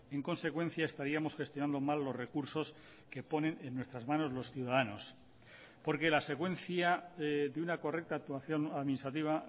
en consecuencia estaríamos gestionando mal los recursos que ponen en nuestras manos los ciudadanos porque la secuencia de una correcta actuación administrativa